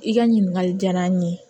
I ka ɲininkali diyara n ye